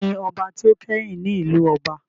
Taani ọba tí ó kẹ́yìn ní ìlú ọba?